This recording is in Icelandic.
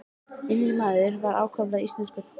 Innri maður hans var ákaflega íslenskur.